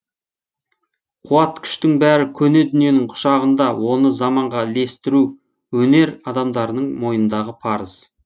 қуат күштің бәрі көне дүниенің құшағында оны заманға ілестіру өнер адамдарының мойнындағы парыз